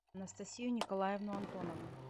анастасию николаевну антонову